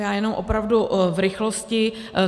Já jenom opravdu v rychlosti.